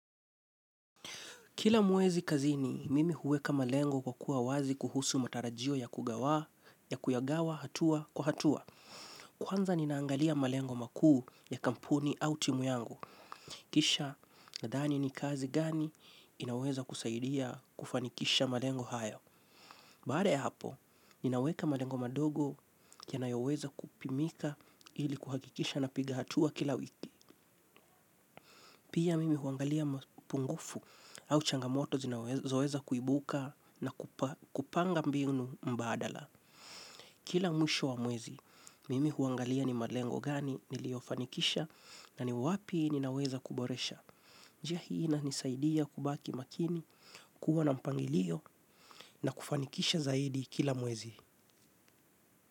Kila mwezi kazini, mimi huweka malengo kwa kuwa wazi kuhusu matarajio ya kugawa, ya kuyagawa, hatua, kwa hatua. Kwanza ninaangalia malengo makuu ya kampuni au timu yangu. Kisha nadhani ni kazi gani inaweza kusaidia kufanikisha malengo hayo. Baada ya hapo, ninaweka malengo madogo yanayoweza kupimika ili kuhakikisha napiga hatua kila wiki. Pia mimi huangalia mpungufu au changamoto zinaweza kuibuka na kupanga mbinu mbadala. Kila mwisho wa mwezi, mimi huangalia ni malengo gani niliofanikisha na ni wapi ninaweza kuboresha. Njia hii inanisaidia kubaki makini, kuwa na mpangilio na kufanikisha zaidi kila mwezi.